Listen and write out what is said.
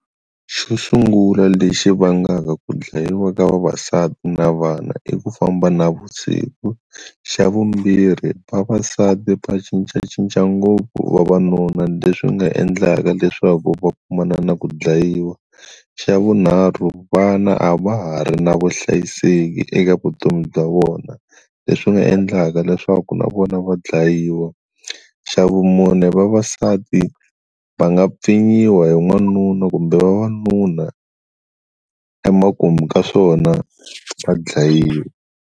Xo sungula lexi vangaka ku dlayiwa ka vavasati na vana i ku famba navusiku, xa vumbirhi vavasati va cincacinca ngopfu vavanuna leswi nga endlaka leswaku va kumana na ku dlayiwa xa vunharhu vana a va ha ri na vuhlayiseki eka vutomi bya vona leswi nga endlaka leswaku na vona va dlayiwa, xa vumune vavasati va nga pfinyiwa hi n'wanuna kumbe vavanuna emakumu ka swona va dlayiwa.